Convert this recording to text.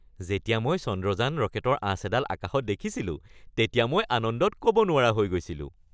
যেতিয়া মই চন্দ্ৰযান ৰকেটৰ আঁচ এডাল আকাশত দেখিছিলোঁ তেতিয়া মই আনন্দত ক'ব নোৱাৰা হৈ গৈছিলোঁ।